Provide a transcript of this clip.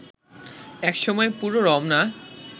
এক সময় পুরো রমনা